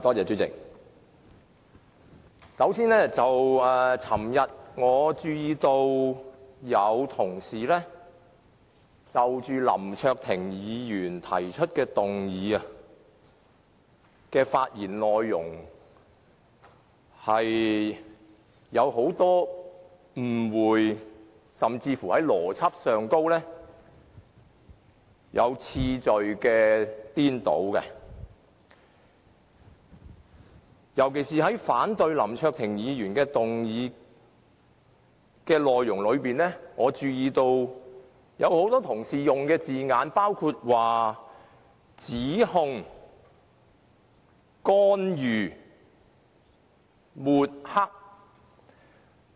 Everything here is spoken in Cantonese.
主席，首先，我注意到昨天有些同事就林卓廷議員提出的議案的發言內容有很多誤會，甚至在邏輯和次序上出現顛倒，尤其是在反對林卓廷議員的議案時，我留意到有很多同事用了以下的字眼，包括：指控、干預、抹黑。